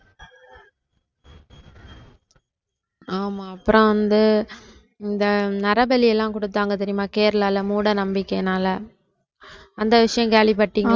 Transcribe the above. ஆமாம் அப்புறம் வந்து இந்த நரபலி எல்லாம் கொடுத்தாங்க தெரியுமா கேரளால மூட நம்பிக்கையினால அந்த விஷயம் கேள்விபட்டீங்களா